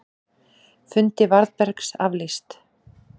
Fundi Varðbergs aflýst